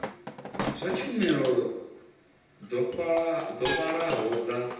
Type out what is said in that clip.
fha tshumelo dzo vhalaho dza